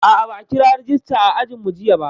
A'a, ba a kira rejista a ajinmu jiya ba.